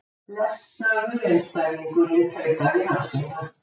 Blessaður einstæðingurinn, tautaði Hansína.